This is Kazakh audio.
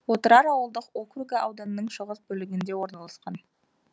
отырар ауылдық округі ауданның шығыс бөлігінде орналасқан